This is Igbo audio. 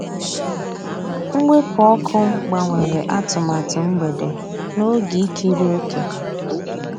Mwepụ́ ọ́kụ́ gbànwèrè àtụ̀màtụ́ mgbedé n'ògé ìkírí òkè.